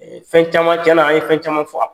fɛn caman cɛnna, an ye fɛn caman fɔ.